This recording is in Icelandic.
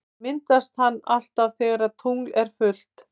Myndast hann alltaf þegar tungl er fullt?